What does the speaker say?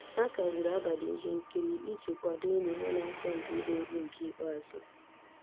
Ha kagburu abalị ihe nkiri iji kwadoo enyi ha na-asọ mpi igba egwu nke ikpeazụ